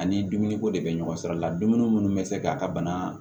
Ani dumuni ko de bɛ ɲɔgɔn sɔrɔ o la dumuni munnu be se k'a ka bana